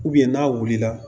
n'a wulila